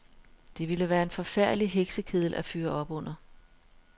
Det ville være en forfærdelig heksekedel at fyre op under.